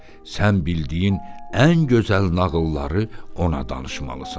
Sən bildiyin ən gözəl nağılları ona danışmalısan.